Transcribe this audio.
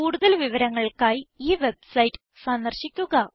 കൂടുതൽ വിവരങ്ങൾക്കായി ഈ വെബ്സൈറ്റ് സന്ദർശിക്കുക